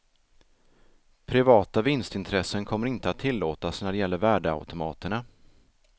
Privata vinstintressen kommer inte att tillåtas när det gäller värdeautomaterna.